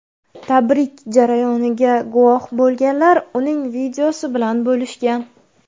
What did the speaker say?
Tabrik jarayoniga guvoh bo‘lganlar uning videosi bilan bo‘lishgan.